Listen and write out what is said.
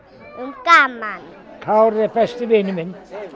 gaman Kári er besti vinur minn